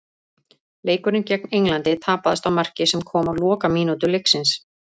Leikurinn gegn Englandi tapaðist á marki sem kom á lokamínútu leiksins.